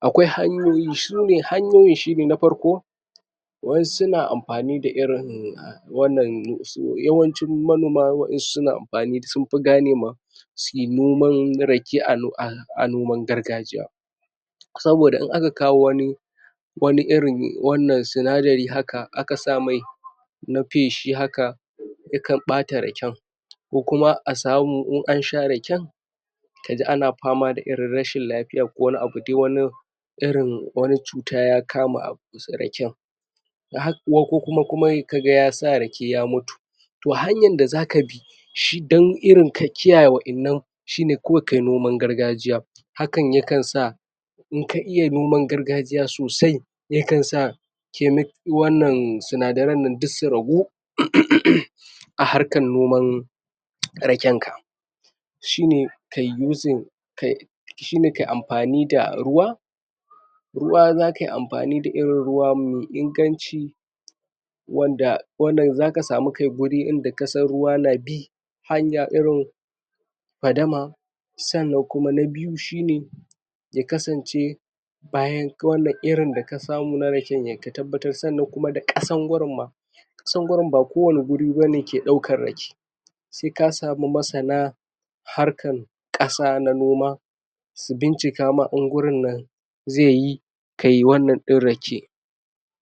akwai hanyoy su ne hanyoyin shi ne hanyoyin na farko wa'yan su na amfani da irin wannan yawancin manoma sunfi, suna amfani sun fi ganema sai noman rake a noman gargajiya saboda in aka kawo wani wani iri wannan sinadari haka aka samai na faishi haka yakan bata raken ko kuma a samu in ansha raken ka ji ana fama da rashin lafiya ko wani abu dai irin irin wani cuta ya kama abu raken kokuma kaga ya sa rake ya mutu to hanyar da zaka bi dan irin ka kiyaye wa'yannan shi ne kawai kayi noman gargajiya hakan yakan sa inka iya noman gargajiya sosai yakan sa wannan sinadaren duk su ragu uuummm a harkar noman raken ka shi ne kayi yuzin kayi shi ne kayi amfani da ruwa ruwa za kai amfani da irin ruwa mai inganci wanda, wannan za ka samu kai wuri wanda ka san ruwa na bii hanya irin fadama sannan kuma na diyu shi ne ya kasance bayan wannan irin da ka samu na raken ka tabbatar kuma da kasar gurin ma kasan gurin ba kowani wuri bane ke daukar rake sai ka samu masana harkar kasa na noma su bincika ma in gurinnan zai yi wanan din rake